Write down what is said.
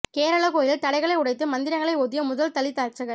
கேரள கோயிலில் தடைகளை உடைத்து மந்திரங்களை ஓதிய முதல் தலித் அர்ச்சகர்